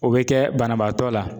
O bɛ kɛ banabaatɔ la